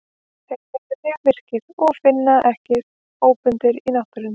Þeir eru því mjög virkir og finnast ekki óbundnir í náttúrunni.